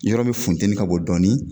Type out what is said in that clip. Yɔrɔ min funteni ka bon dɔɔnin